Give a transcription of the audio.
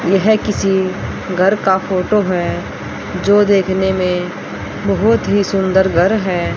यह है किसी घर का फोटो है जो देखने में बहुत ही सुंदर घर है।